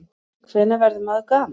Hvenær verður maður gamall?